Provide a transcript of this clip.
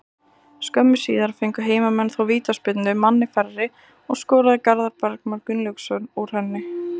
Skömmu síðar fengu heimamenn þó vítaspyrnu, manni færri, og skoraði Garðar Bergmann Gunnlaugsson úr henni.